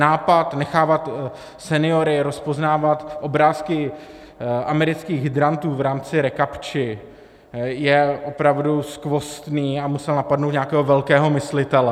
Nápad nechávat seniory rozpoznávat obrázky amerických hydrantů v rámci recaptchi je opravdu skvostný a musel napadnout nějakého velkého myslitele.